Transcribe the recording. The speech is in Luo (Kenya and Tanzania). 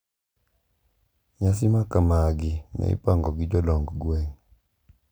Nyasi makamagi ne ipango gi jodong gweng`.